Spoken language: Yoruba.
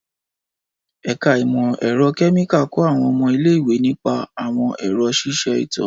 Ẹka imọ-ẹrọ kẹmika kọ awọn ọmọ ile-iwe nipa awọn ẹrọ ṣiṣe ito.